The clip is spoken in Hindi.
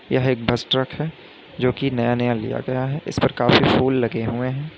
यह एक बस ट्रक है जो कि नया नया लिया गया है इस पर काफी फूल लगे हुए हैं।